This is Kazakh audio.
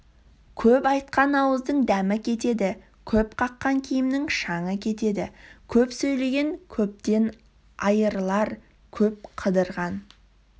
көп айтқан ауыздың дәмі кетеді көп қаққан киімнің шаңы кетеді көп сөйлеген көптен айырылар көп қыдырған